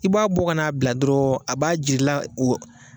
I b'a bɔ kana a bila dɔrɔn w, a b'a jir'i la o